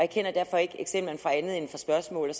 kender derfor ikke eksemplerne fra andet end fra spørgsmål